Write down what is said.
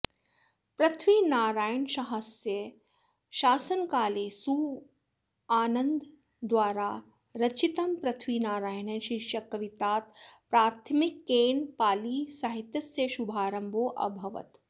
पृथ्वीनारायणशाहस्य शासनकाले सुवानन्ददाद्वारा रचितं पृथ्वीनारायणः शीर्षक कवित्तात् प्राथमिकनेपालीसाहित्यस्य शुभारम्भाेऽभवत्